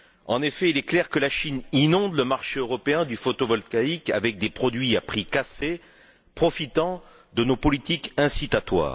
En effet, il est clair que la Chine inonde le marché européen du photovoltaïque avec des produits à prix cassés, profitant de nos politiques d'incitation.